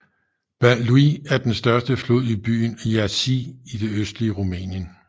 Bahlui er den største flod i byen Iași i det østlige Rumænien